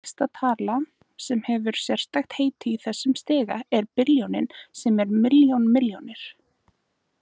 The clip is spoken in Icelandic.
Næsta tala sem hefur sérstakt heiti í þessum stiga er billjónin sem er milljón milljónir.